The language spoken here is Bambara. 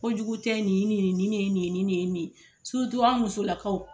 Ko jugu tɛ nin ye nin ye nin nin de ye nin ye surutu an musolakaw